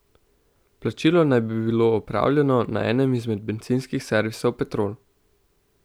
Plačilo naj bi bilo opravljeno na enem izmed bencinskih servisov Petrol.